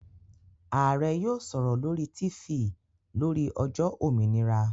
Ààrẹ́ yóò sọ̀rọ̀ lórí Tifì lórí ọjọ́ òmìnira